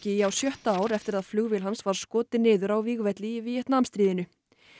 í á sjötta ár eftir að flugvél hans var skotin niður á vígvelli í Víetnamstríðinu